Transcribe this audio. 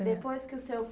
é. Depois que o seu